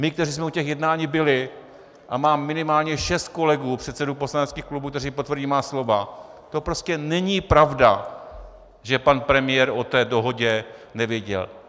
My, kteří jsme u těch jednání byli, a mám minimálně šest kolegů předsedů poslaneckých klubů, kteří potvrdí má slova, to prostě není pravda, že pan premiér o té dohodě nevěděl.